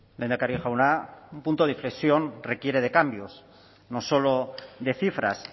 lehendakari jauna un punto de inflexión requiere de cambios no solo de cifras